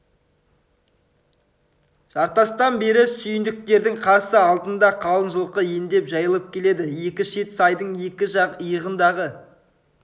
жартастан бері сүйіндіктердің қарсы алдында қалың жылқы ендеп жайылып келеді екі шеті сайдың екі жақ иығындағы